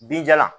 Binjalan